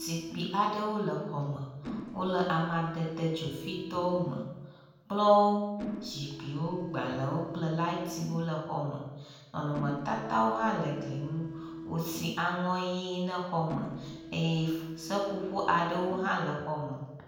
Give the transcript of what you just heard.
Zikpui aɖewo le xɔ me wo le amadede dzofitɔwo me. Kplɔwo, zikpuiwo, gbalewo kple latiwo le xɔ me. Nɔnɔmetatawo hã le gli nu. Wosi aŋɔ ʋi ne xɔ me eye f seƒoƒo aɖewo hã le xɔ me.